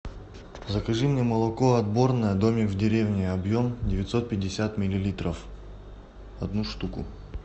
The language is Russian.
закажи мне молоко отборное домик в деревне объем девятьсот пятьдесят миллилитров одну штуку